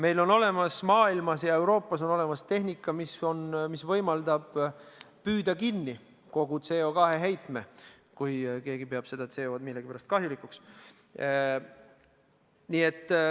Euroopas ja mujal maailmas on olemas tehnika, mis võimaldab püüda kinni kogu CO2 heitme – kui keegi peab seda millegipärast kahjulikuks.